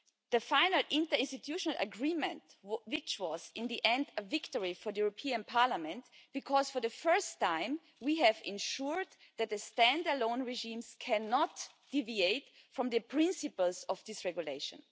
The final interinstitutional agreement was in the end a victory for the European Parliament, because for the first time we have ensured that the stand alone regimes cannot deviate from the principles of this regulation.